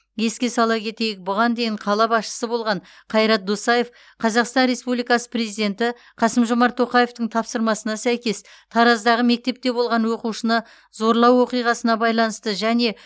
еске сала кетейік бұған дейін қала басшысы болған қайрат досаев қазақстан республикасы президенті қасым жомарт тоқаевтың тапсырмасына сәйкес тараздағы мектепте болған оқушыны зорлау оқиғасына байланысты және